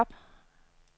job